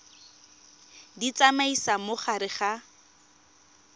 di tsamaisa mo gare ga